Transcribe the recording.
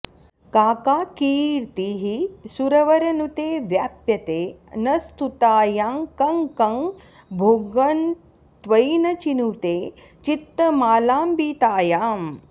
का का कीर्तिः सुरवरनुते व्याप्यते न स्तुतायां कं कं भोगं त्वयि न चिनुते चित्तमालम्बितायाम्